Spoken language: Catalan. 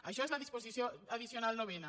això és la disposició addicional novena